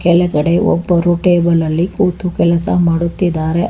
ಕೆಳಗಡೆ ಒಬ್ಬರು ಟೇಬಲ್ ಅಲ್ಲಿ ಕೂತು ಕೆಲಸ ಮಾಡುತ್ತಿದ್ದಾರೆ.